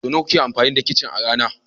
Sau nawa kuke amfani da kicin a rana?